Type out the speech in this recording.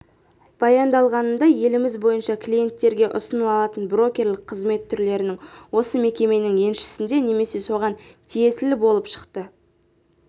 баяндалғанындай еліміз бойынша клиенттерге ұсынылатын брокерлік қызмет түрлерінің осы мекеменің еншісінде немесе соған тиесілі болып шықты